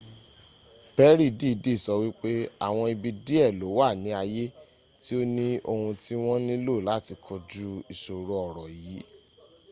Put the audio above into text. perry dìídì sọ wípé àwọn ibi díẹ̀ ló wà ni ayé tí ó ni ohun tí wọn nílò láti kọjú ìṣòro ọ̀rọ̀ yì